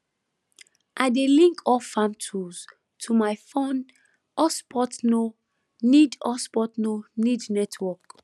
i dey link all farm tools to my fon hotspotno need hotspotno need network